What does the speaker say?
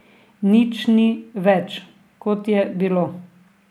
Nič ni več, kot je bilo.